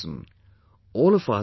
Farmers also suffered heavy losses